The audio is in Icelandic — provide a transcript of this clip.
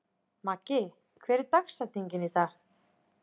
Maggi, hver er dagsetningin í dag?